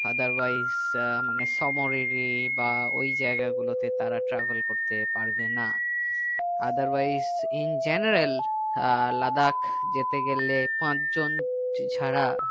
otherwise ah মানে সোমোরিরি বা ওই জায়গা গুলোতে তারা travel করতে পারবে না otherwise in general ah Ladakh যেতে গেলে পাঁচজন ছাড়া